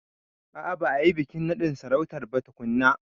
A a ba a yi bikin naɗin sarautar ba tukunna.